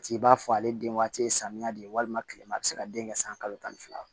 Ci b'a fɔ ale den waati ye samiya de ye walima kilema be se ka den kɛ san kalo tan ni fila